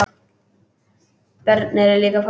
Börn eru líka fólk.